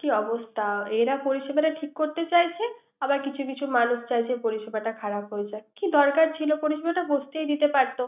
কি অবস্থা। এরা পরিসেবা টা ঠিক করতে চাইছে। আবার কিছু কিছু মানুষ চাইছে পরিসেবা টা খারাপ হয়ে যাক। কি দরকার ছিল পরিসেবা টা ঘটতেই দিতে পারতে।